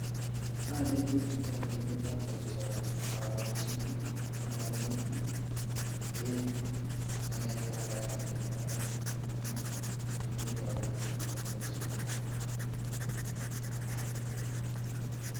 Aneti chito olekiyoito boisioni aborchini ak aneti en agenge ak agenge kototun konai ele kiyoitoi kasinito boisionito.